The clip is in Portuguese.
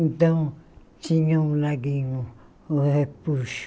Então, tinha o laguinho, o repuxo.